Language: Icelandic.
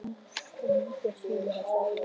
Og líka synir hans, Ari og Björn.